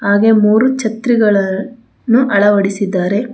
ಹಾಗೆ ಮೂರು ಛತ್ರಿಗಳ ನ್ನು ಅಳವಡಿಸಿದ್ದಾರೆ.